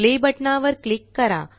play बटनावर click करा